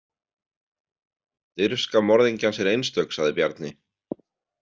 Dirfska morðingjans er einstök, sagði Bjarni.